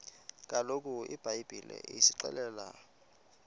kaloku ibhayibhile isixelela